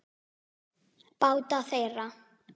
Báta þeirra